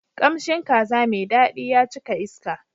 Kamshin kaza mai daɗi ya cika iska.